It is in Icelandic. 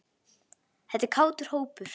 Þetta er kátur hópur.